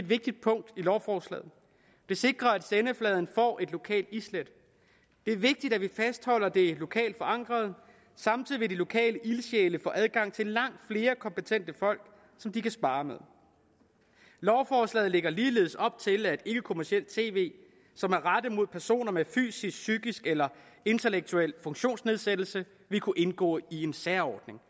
vigtigt punkt i lovforslaget det sikrer at sendefladen får det lokale islæt det er vigtigt at vi fastholder det lokalt forankrede samtidig vil de lokale ildsjæle få adgang til langt flere kompetente folk som de kan sparre med lovforslaget lægger ligeledes op til at ikkekommercielt tv som er rettet mod personer med fysisk psykisk eller intellektuel funktionsnedsættelse vil kunne indgå i en særordning